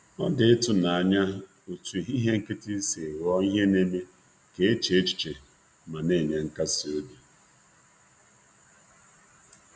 Ọ bụ ihe ụtọ bụ ihe ụtọ na mmasị ka ehihie nkịtị si bụrụ ihe na-atụgharị uche na nke na-akasi obi.